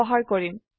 ব্যবহাৰ কৰিম